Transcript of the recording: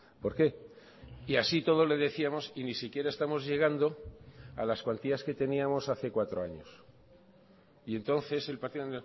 por qué y así y todo le decíamos y ni siquiera estamos llegando a las cuantías que teníamos hace cuatro años y entonces el partido